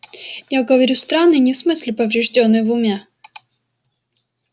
я говорю странный не в смысле повреждённый в уме